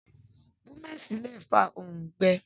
Búmẹ̀sì lé fàa òǹgbẹ